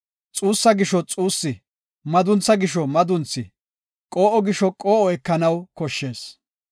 xuussa gisho xuussi, maduntha gisho madunthi, qoo7o gisho qoo7o ekanaw koshshees.